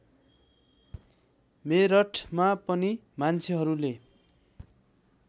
मेरठमा पनि मान्छेहरूले